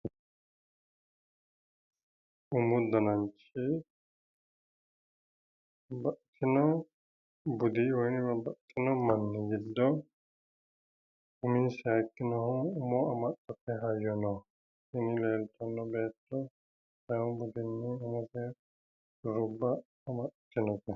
Umu dananchi babbaxxino budi woyi babbaxxino manni giddo uminsa hiikkinoho umo amaxxate hayyono tini leeltanno beetto sidaamu budinni umose shurubba amaxxitinote.